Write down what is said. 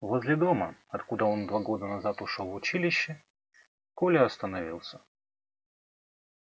возле дома откуда он два года назад ушёл в училище коля остановился